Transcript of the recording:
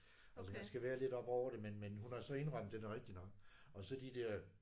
Altså man skal være lidt oppe over det. Men men hun har så indrømmet den er rigtig nok og så de der